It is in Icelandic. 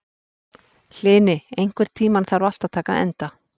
Hlini, einhvern tímann þarf allt að taka enda.